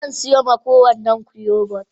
Zan siyo ma kowannan ku yogurt.?